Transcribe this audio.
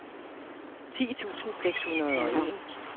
ti tusind seks hundrede og en